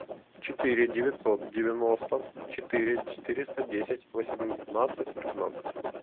четыре девятьсот девяносто четыре четыреста десять восемнадцать пятнадцать